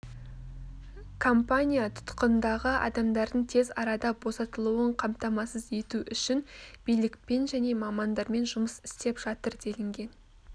компания тұтқындағы адамдардың тез арада босатылуын қамтамасыз ету үшін билікпен және мамандармен жұмыс істеп жатыр делінген